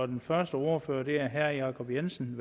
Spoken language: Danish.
den første ordfører er herre jacob jensen